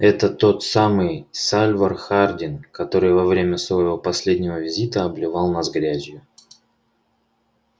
это тот самый сальвор хардин который во время своего последнего визита обливал нас грязью